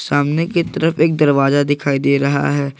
सामने की तरफ एक दरवाजा दिखाई दे रहा है।